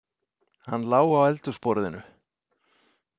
Hann lá á eldhúsborðinu.